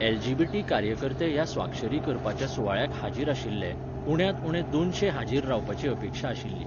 LGBT. कार्यकर्ते ह्या स्वाक्षरी करपाच्या सुवाळ्याक हाजीर आशिल्ले, उण्यांत उणे दोनशे हाजीर रावपाची अपेक्षा आशिल्ली.